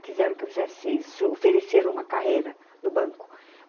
Quiseram que eu fizesse, oferecesse uma carreira no banco.